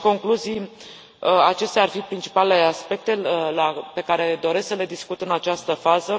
Ca și concluzii, acestea ar fi principalele aspecte pe care doresc să le discut în această fază.